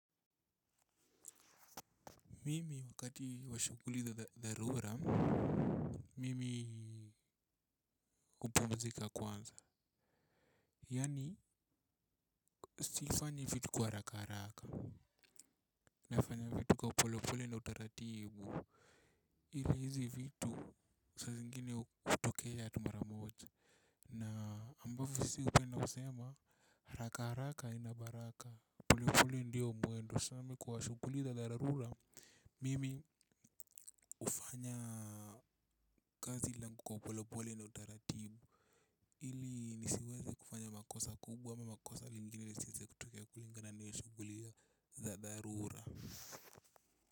Mimi wakati wa shughuli za dharura, mimi hupumzika kwanza. Yaani, sifanyi vitu kwa haraka haraka. Nafanya vitu kwa polepole na utaratibu. Ili hizi vitu saa zingine hushtukia tu mara moja. Na ambavyo si tunasema, haraka haraka haina baraka. Polepole ndiyo mwendo sa mimi kwa shughuli za dharura mimi hufanya kazi langu kwa polopole na utaratibu ili nisiweze kufanya makosa kubwa ama makosa lingine lisiweze kutokea kulingana nahiyo shughuli za dharura.